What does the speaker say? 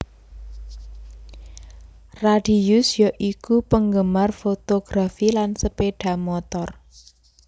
Radius ya iku penggemar fotografi lan sepeda motor